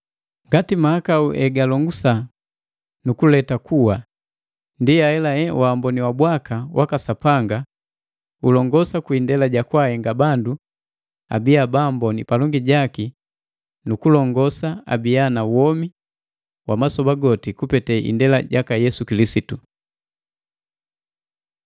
Ngati mahakau hegalongosa nukuleta kuwa, ndi ahelahe waamboni wa bwaka waka Sapanga ulongusa kwi indela ja kwaahenga bandu abiya baamboni palongi jaki nu kulongosa abiya na womi wa masoba goti kupete indela jaka Yesu Kilisitu.